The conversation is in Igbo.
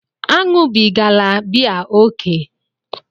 Aṅụbigala biya ókè!